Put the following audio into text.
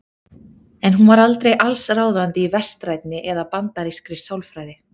En hún var aldrei allsráðandi í vestrænni eða bandarískri sálfræði.